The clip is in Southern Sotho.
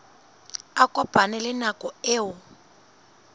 a kopane le nako eo